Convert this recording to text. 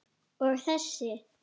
Og þessi?